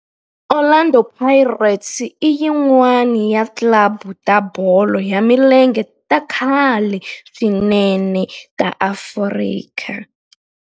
Orlando Pirates i yin'wana ya ti club ta bolo ya milenge ta khale swinene ta Afrika.